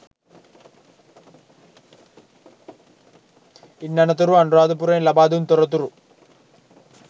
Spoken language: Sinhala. ඉන් අනතුරුව අනුරාධපුරයෙන් ලබා දුන් තොරතුරු